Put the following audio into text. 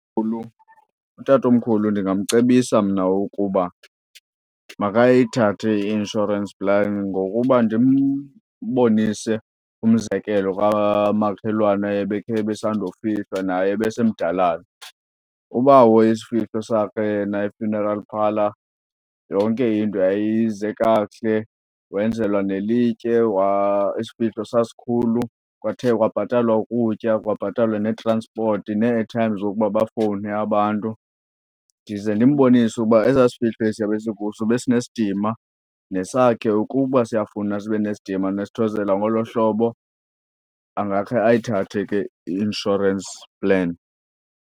Utatomkhulu ndingamcebisa mna ukuba makayithathe i-insurance plan ngokuba ndimbonise umzekelo kwamakhelwana ebekhe ebesandofihlwa naye, ebesemdalana. Ubawo isifihlo sakhe yena i-funeral parlour, yonke into yayize kakuhle wenzelwa nelitye isifihlo sasikhulu. Kwathe kwabhatalwa ukutya, kwabhatalwa neetranspoti, nee-airtime zokuba bafowune abantu. Ndize ndimbonise uba esasifihlo esiya besikuso besinesidima, nesakhe ukuba siyafuna sibe nesidima nesithozela ngolo hlobo, angakhe ayithathe ke i-insurance plan.